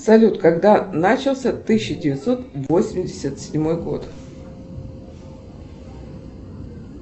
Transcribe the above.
салют когда начался тысяча девятьсот восемьдесят седьмой год